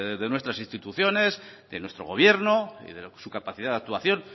de nuestras instituciones de nuestro gobierno y de su capacidad de actuación